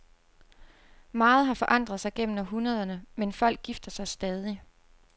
Meget har forandret sig gennem århundrederne, men folk gifter sig stadig.